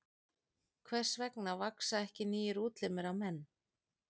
Hvers vegna vaxa ekki nýir útlimir á menn?